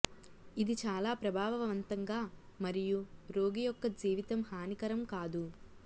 ఇది చాలా ప్రభావవంతంగా మరియు రోగి యొక్క జీవితం హానికరం కాదు